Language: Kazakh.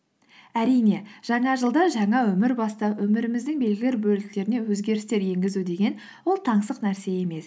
әрине жаңа жылда жаңа өмір бастап өміріміздің белгілі бір бөліктеріне өзгерістер енгізу деген ол таңсық нәрсе емес